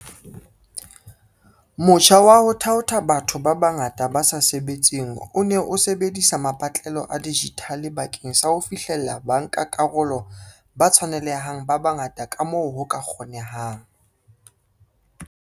Motjha wa ho thaotha batho ba bangata ba sa sebetseng o ne o sebedisa mapatlelo a dijithale bakeng sa ho fihlella bankakarolo ba tshwanele hang ba bangata kamoo ho ka kgonehang.